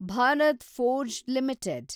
Bharat Forge limited